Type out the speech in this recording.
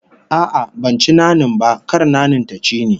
A'a, ban ci nanin ba, kar nanin ta ci ni